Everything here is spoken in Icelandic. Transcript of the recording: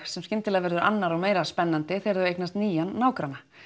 sem skyndilega verður annar og meira spennandi þegar þau eignast nýjan nágranna